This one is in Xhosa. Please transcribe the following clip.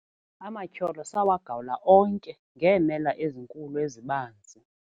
Amatyholo sawagawula onke ngeemela ezinkulu ezibanzi.